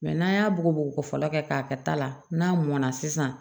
n'an y'a bugɔ fɔlɔ kɛ k'a kɛ ta la n'a mɔna sisan